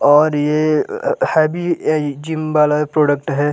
और ये heavy gym वाला प्रोडक्ट है।